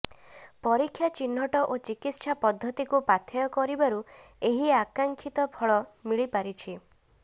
ପରୀକ୍ଷା ଚିହ୍ନଟ ଓ ଚିକିତ୍ସା ପଦ୍ଧତିକୁ ପାଥେୟ କରିବାରୁ ଏହି ଆକାଂକ୍ଷିତ ଫଳ ମିଳିପାରିଛି